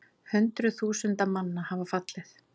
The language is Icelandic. Hundruð þúsunda manna hafa fallið